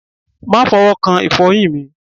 Ma fọwọ́ kan ìfọyín mi.